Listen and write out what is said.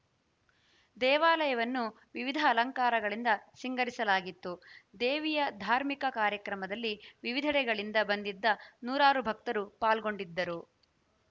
ದೇವಾಲಯವನ್ನು ವಿವಿಧ ಅಲಂಕಾರಗಳಿಂದ ಸಿಂಗರಿಸಲಾಗಿತ್ತು ದೇವಿಯ ಧಾರ್ಮಿಕ ಕಾರ್ಯಕ್ರಮದಲ್ಲಿ ವಿವಿಧೆಡೆಗಳಿಂದ ಬಂದಿದ್ದ ನೂರಾರು ಭಕ್ತರು ಪಾಲ್ಗೊಂಡಿದ್ದರು